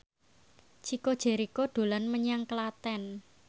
Chico Jericho dolan menyang Klaten